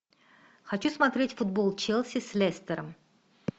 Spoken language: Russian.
хочу смотреть футбол челси с лестером